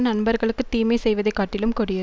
நண்பர்களுக்குத் தீமை செய்வதை காட்டிலும் கொடிய